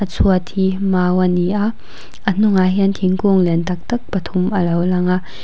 chhuat hi mau ani a a hnungah hian thingkung lian taktak pathum alo lang a.